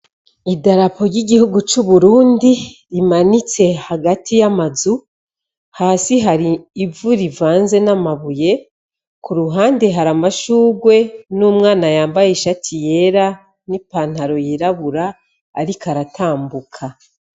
Idarapo ry'igihugu c'uburundi rimanitse hagati y'amazu hasi hari ivu rivanze n'amabuye ku ruhande hari amashugwe n'umwana yambaye ishati yera n'ipantaro yirabura, ariko aratambuka.